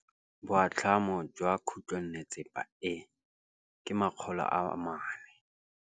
Boatlhamô jwa khutlonnetsepa e, ke 400.